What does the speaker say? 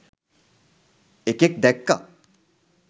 එකෙක් දැක්ක